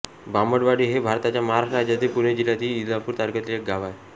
बांबडवाडी हे भारताच्या महाराष्ट्र राज्यातील पुणे जिल्ह्यातील इंदापूर तालुक्यातील एक गाव आहे